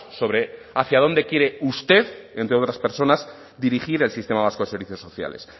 sobre hacia dónde quiere usted entre otras personas dirigir el sistema vasco de servicios sociales